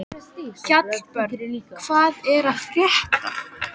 Hallbjörn, hvað er að frétta?